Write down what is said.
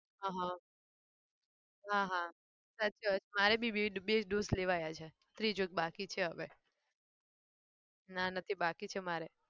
આહ હં હા હા સાચી વાત મારે બી બે બે dose લેવાયા છે ત્રીજો એક બાકી છે હવે. ના નથી બાકી છે મારે.